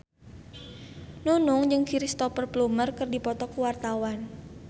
Nunung jeung Cristhoper Plumer keur dipoto ku wartawan